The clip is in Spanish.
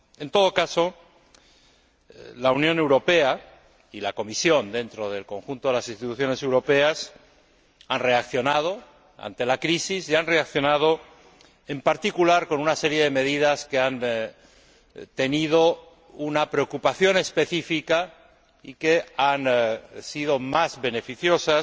En todo caso, la Unión Europea, y la Comisión dentro del conjunto de las Instituciones europeas, han reaccionado ante la crisis, y han reaccionado en particular con una serie de medidas que han respondido a una preocupación específica y que han sido más beneficiosas,